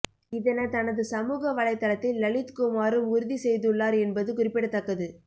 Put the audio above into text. இதன தனது சமூக வலைத்தளத்தில் லலித்குமாரும் உறுதி செய்துள்ளார் என்பது குறிப்பிடத்தக்கது